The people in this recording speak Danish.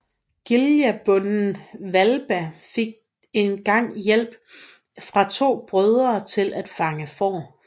Giljabonden i Hvalba fik en gang hjælp fra to af brødrene til at fange får